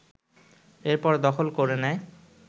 এরপর দখল করে নেয়